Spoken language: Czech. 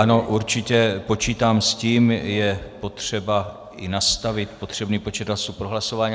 Ano, určitě, počítám s tím, je potřeba i nastavit potřebný počet hlasů pro hlasování.